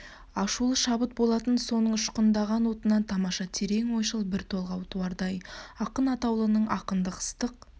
ашулы шабыт болатын соның ұшқындаған отынан тамаша терең ойшыл бір толғау туардай ақын атаулының ақындық ыстық